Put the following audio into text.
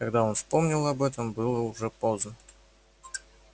когда он вспомнил об этом было уже поздно